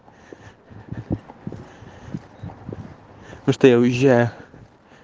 ну что я уезжаю